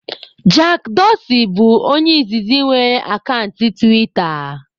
Jack Dorsi bụ onye izizi nwere akant tiwita